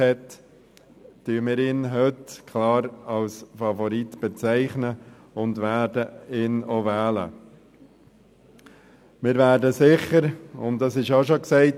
Daher bezeichnen wir ihn heute klar als Favoriten und werden ihn auch wählen.